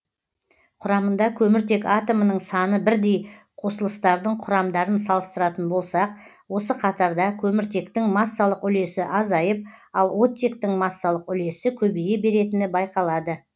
құрамында көміртек атомының саны бірдей қосылыстардың құрамдарын салыстыратын болсақ осы қатарда көміртектің массалық үлесі азайып ал оттектің массалық үлесі көбейе беретіні байқалады